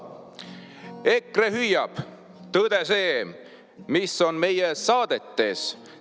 EKRE hüüab: "Tõde see, mis on meie saadetes!